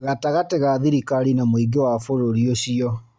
Gatagatĩ ga thirikari na mũingĩ wa bũrũri ũcio